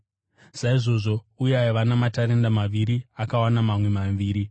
Saizvozvo uya aiva namatarenda maviri akawana mamwe maviri.